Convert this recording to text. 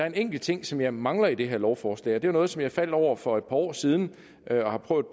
en enkelt ting som jeg mangler i det her lovforslag det er noget som jeg faldt over for et par år siden og jeg har prøvet